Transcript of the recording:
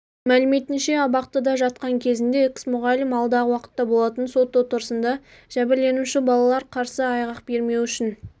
мәліметінше абақтыда жатқан кезінде экс-мұғалім алдағы уақытта болатын сот отырысында жәбірленуші балалар қарсы айғақ бермеуі үшін